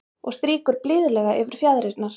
Og strýkur blíðlega yfir fjaðrirnar.